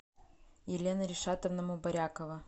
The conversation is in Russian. елена ришатовна мубарякова